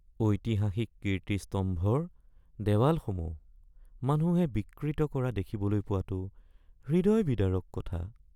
ঐতিহাসিক কীৰ্তিস্তম্ভৰ দেৱালসমূহ মানুহে বিকৃত কৰা দেখিবলৈ পোৱাটো হৃদয় বিদাৰক কথা